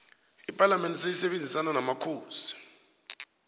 ipalamende seleisebenzisona nomakhosi